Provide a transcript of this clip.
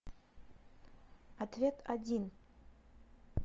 ответ один